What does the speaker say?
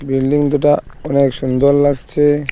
Building দুটা অনেক সুন্দর লাগছে।